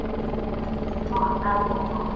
Hefði átt að vita það.